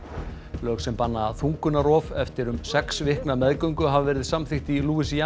lög sem banna þungunarrof eftir um sex vikna meðgöngu hafa verið samþykkt í